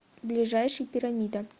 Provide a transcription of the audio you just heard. ближайший пирамида